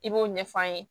I b'o ɲɛf'an ye